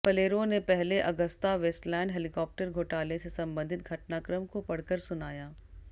फलेरो ने पहले Agusta Westland helicopter घोटाले से संबंधित घटनाक्रम को पढ़कर सुनाया